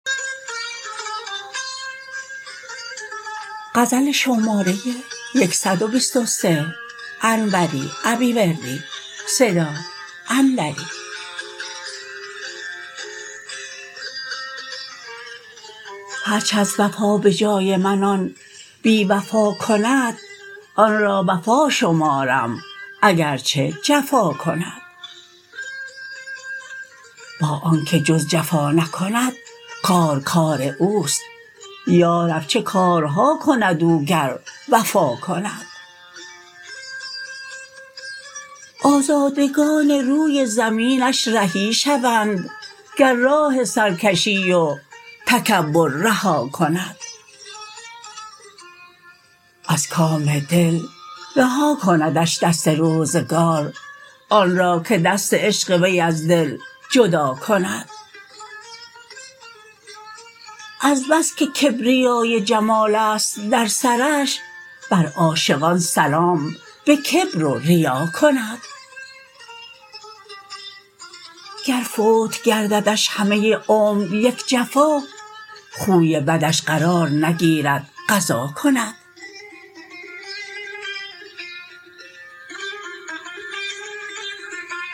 هرچ از وفا به جای من آن بی وفا کند آنرا وفا شمارم اگرچه جفا کند با آنکه جز جفا نکند کار کار اوست یارب چه کارها کند او گر وفا کند آزادگان روی زمینش رهی شوند گر راه سرکشی و تکبر رها کند از کام دل رها کندش دست روزگار آنرا که دست عشق وی از دل جدا کند از بس که کبریای جمالست در سرش بر عاشقان سلام به کبر و ریا کند گر فوت گرددش همه عمر یک جفا خوی بدش قرار نگیرد قضا کند